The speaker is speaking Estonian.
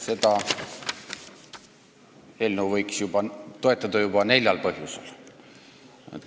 Seda eelnõu võiks toetada täna juba neljal põhjusel.